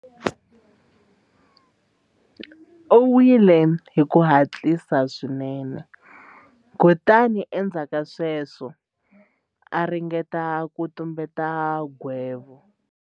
U nwile hi ku hatlisa swinene kutani endzhaku ka sweswo a ringeta ku tumbeta nghevo.